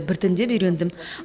біртіндеп үйрендім